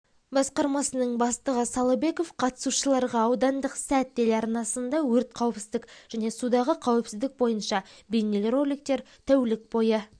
басқармасының бастығы салыбеков қатысушыларға аудандық сәт телеарнасында өрт қауіпсіздік және судағы қауіпсіздік бойынша бейнероликтер тәулік бойы